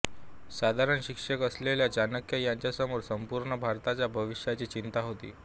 साधारण शिक्षक असलेल्या चाणक्य यांच्यासमोर संपूर्ण भारताच्या भवितव्याची चिंता होती